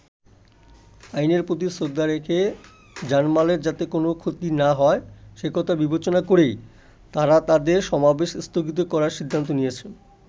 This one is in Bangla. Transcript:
আইনের প্রতি শ্রদ্ধা রেখে, জানমালের যাতে কোনো ক্ষতি না হয় সেকথা বিবেচনা করেই তারা তাদের সমাবেশ স্থগিত করার সিদ্ধান্ত নিয়েছেন।